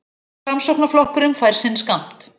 Framsóknarflokkurinn fær sinn skammt